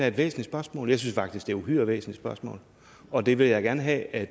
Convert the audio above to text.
et væsentligt spørgsmål jeg synes faktisk det uhyre væsentligt spørgsmål og det vil jeg gerne have at